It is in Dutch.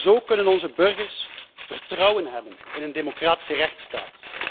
Zo kunnen onze burgers vertrouwen hebben in een democratische rechtsstaat.